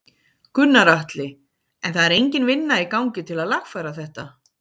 Gunnar Atli: En það er engin vinna í gangi til að lagfæra þetta?